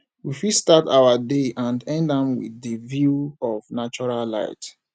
we fit start our day and end am with di view of natural light